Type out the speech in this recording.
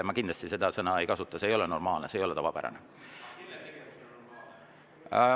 Ma kindlasti seda sõna ei kasutanud, see ei ole normaalne, see ei ole tavapärane.